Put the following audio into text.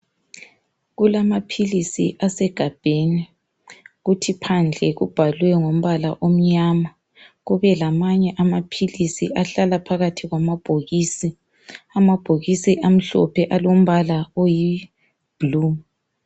Kulamaphilisi asegabheni kuthi phandle kubhalwe ngombala omnyama. kube lamanye amaphilisi ahlala phakathi kwamabhokisi. Amabhokisi alombala oyibhulu.